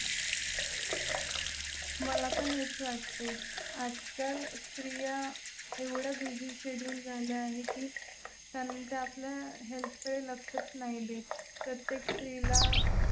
मला पण हेच वाटतंय. आजकाल स्त्रिया एवढ्या busy schedule झाले आहे कीत्या आपल्या health कडे लक्षच नाही देत. प्रत्येक स्त्रीला